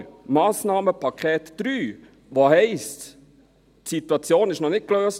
Aber das Massnahmenpaket 3, in dem es heisst: Die Situation ist für das Thunerseeufer noch nicht gelöst …